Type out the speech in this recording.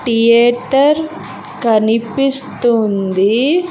Theatre కనిపిస్తుంది.